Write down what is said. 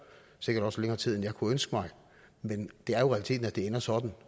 sikkert også længere tid end jeg kunne ønske mig men det er realiteten at det ender sådan